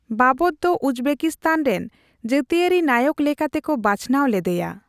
ᱵᱟᱵᱚᱨ ᱫᱚ ᱩᱡᱽᱵᱮᱠᱤᱥᱛᱟᱱ ᱨᱮᱱ ᱡᱟᱹᱛᱤᱭᱟᱹᱨᱤ ᱱᱟᱭᱚᱠ ᱞᱮᱠᱟᱛᱮᱠᱚ ᱵᱟᱪᱷᱱᱟᱣ ᱞᱮᱫᱮᱭᱟ ᱾